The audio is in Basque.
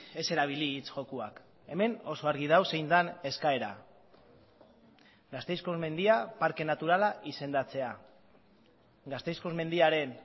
ez erabili hitz jokoak hemen oso argi dago zein den eskaera gasteizko mendia parke naturala izendatzea gasteizko mendiaren